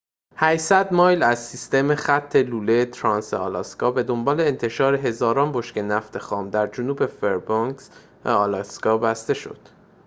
۸۰۰ مایل از سیستم خط لوله ترانس-آلاسکا به دنبال انتشار هزاران بشکه نفت خام در جنوب فربنکس آلاسکا بسته شد